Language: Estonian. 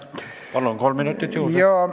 Palun, kolm minutit juurde!